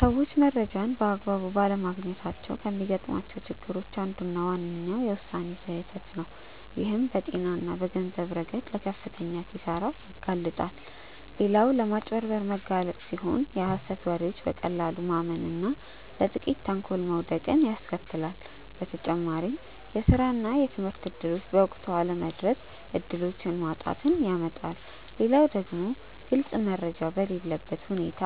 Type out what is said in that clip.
ሰዎች መረጃን በአግባቡ ባለማግኘታቸው ከሚገጥሟቸው ችግሮች አንዱና ዋነኛው የውሳኔ ስህተት ነው፣ ይህም በጤና እና በገንዘብ ረገድ ለከፍተኛ ኪሳራ ያጋልጣል። ሌላው ለማጭበርበር መጋለጥ ሲሆን የሀሰት ወሬዎችን በቀላሉ ማመን እና ለጥቂቶች ተንኮል መውደቅን ያስከትላል። በተጨማሪም የስራ እና የትምህርት እድሎች በወቅቱ አለመድረስ እድሎችን ማጣትን ያመጣል። ሌላው ደግሞ ግልጽ መረጃ በሌለበት ሁኔታ